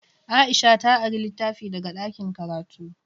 Aisha ta ari litafi daga ɗakin karatu.